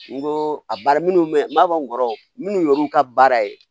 N ko a baara minnu bɛ n b'a fɔ n kɔrɔ minnu y'olu ka baara ye